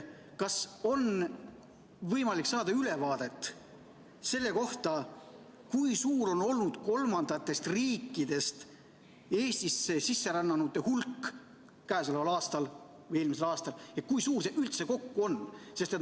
Kas on võimalik saada ülevaadet selle kohta, kui suur on olnud kolmandatest riikidest Eestisse sisserännanute hulk käesoleval aastal, kui suur see oli eelmisel aastal ja kui suur see üldse kokku on?